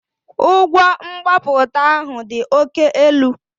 Ụgwọ mgbapụta ahụ dị oke elu